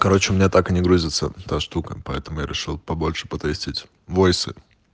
короче у меня так и не грузится та штука поэтому я решил побольше потестить войсы